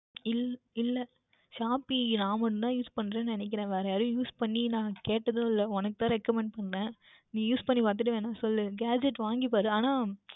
இல்லை Shopee நான் மற்றும் தான் Use பன்னுகிறேன்னு நினைக்கின்றேன் வேர் யாரும் Use பண்ணி கேட்டது இல்லை உனக்கு தான் Recommend பன்னினேன் நீ Use பண்ணி பார்த்துவிட்டு வேண்டுமென்றால் சொல் Gadgets வாங்கி பார் ஆனால்